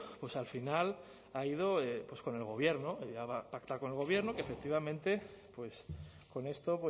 pues al final ha ido pues con el gobierno y ha pactado con el gobierno que efectivamente pues con esto